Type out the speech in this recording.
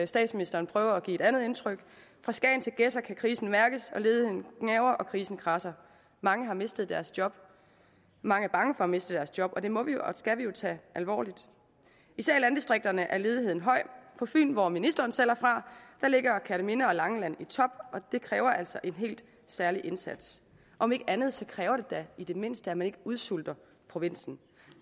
statsministeren prøver at give et andet indtryk fra skagen til gedser kan krisen mærkes ledigheden gnaver og krisen kradser mange har mistet deres job og mange er bange for at miste deres job og det må og skal vi jo tage alvorligt især i landdistrikterne er ledigheden høj på fyn hvor ministeren selv er fra ligger kerteminde og langeland i top og det kræver altså en helt særlig indsats om ikke andet så kræver det da i det mindste at man ikke udsulter provinsen